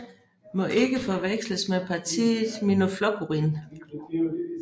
Må ikke forveksles med partiet Miðflokkurin